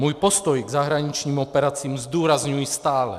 Svůj postoj k zahraničním operacím zdůrazňuji stále.